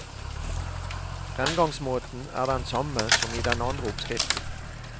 Fremgangsmåten er den samme som i den andre oppskriften.